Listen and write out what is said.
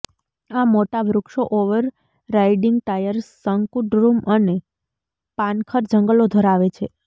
આ મોટા વૃક્ષો ઓવરરાઈડીંગ ટાયર શંકુદ્રુમ અને પાનખર જંગલો ધરાવે છે